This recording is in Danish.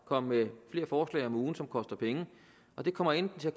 komme med flere forslag om ugen som koster penge og det kommer enten til at